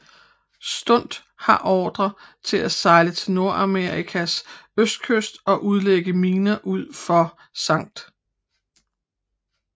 Studt havde ordrer til at sejle til Nordamerikas østkyst og udlægge miner ud for St